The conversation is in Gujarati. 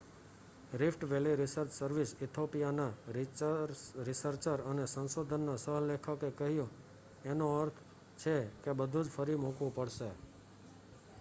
"Rift valley research service Ethiopia ના રિસર્ચર અને સંશોધનના સહ લેખક એ કહ્યું "એનો અર્થ છે કે બધુજ ફરી મુકવુ પઢશે"".